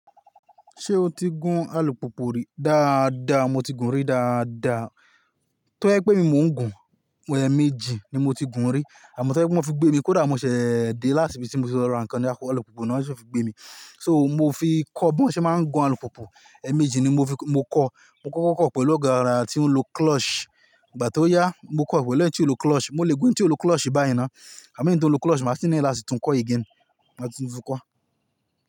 Ṣé o ti gún alùpopo rí? Dáadáa, mo ti gùn rí dáadáa. Tó ẹ̀ pé mi mò ń gùn, ẹ̀ẹ̀méjì ni mo ti gùn rí àmọ́ tó ẹ̀ pé wọ́n fi gbé mi kódà mo ṣẹ̀ de láti bi tí mo ti lọ ra nǹkan ní apá alùpùpù náà kí wọ́n fi gbé mi. So mo fi kọ́ bí wọ́n ṣe máa ń gun alùpùpù, ẹ̀ẹ̀méjì ni mo fi-- mo kọ́. Mo kọ́ kọ́kọ́ pẹ̀lú ọ̀gá rà tí ó ń lo clutch. Ìgbà tí ó yá, mo kọ́ pẹ̀lú ẹni tí ó ń lo clutch. Mo lè gun tí ó ń lo clutch báyìí náà àmọ́ eyii to ǹ ló clutch, màá si need lati tun kọ́ again. Màá tún tun kọ́